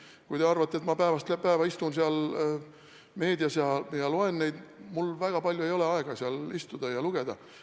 Kui te arvate, et ma päevast päeva istun seal meedias ja loen neid sõnumeid – mul väga palju ei ole aega seal istuda ja seda kõike lugeda.